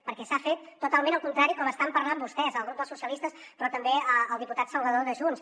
perquè s’ha fet totalment el contrari del que estan parlant vostès al grup dels socialistes però també el diputat salvador de junts